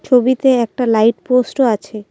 ছবিতে একটা লাইট পোস্টও আছে।